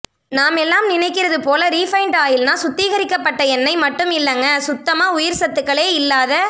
நாமெல்லாம் நினைக்கிறது போல ரீபைண்ட் ஆயில்னா சுத்திகரிக்க பட்ட எண்ணெய் மட்டும் இல்லங்க சுத்தமா உயிர் சத்துகளே இல்லாத